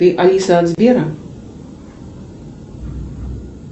ты алиса от сбера